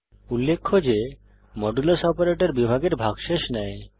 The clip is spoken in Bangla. উল্লেখ্য যে মডুলাস অপারেটর বিভাগের ভাগশেষ দেয়